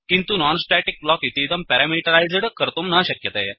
किन्तु non static block इतीदं parameterised कर्तुं न शक्यते